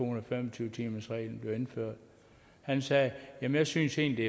og fem og tyve timersreglen og han sagde jamen jeg syntes egentlig